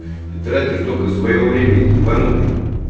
ты тратишь только своё время ибанутый